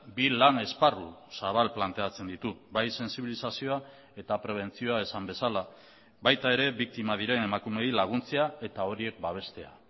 bi lan esparru zabal planteatzen ditu bai sentsibilizazioa eta prebentzioa esan bezala baita ere biktima diren emakumeei laguntzea eta horiek babestea